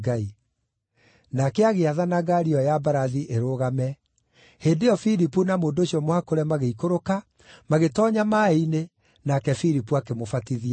Nake agĩathana ngaari ĩyo ya mbarathi ĩrũgame. Hĩndĩ ĩyo Filipu na mũndũ ũcio mũhakũre magĩikũrũka, magĩtoonya maaĩ-inĩ, nake Filipu akĩmũbatithia.